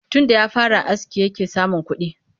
Tunda ya fara aski yake samun kuɗi